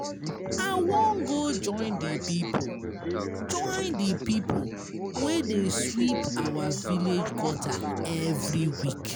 I wan go join the people wey dey sweep our village gutter every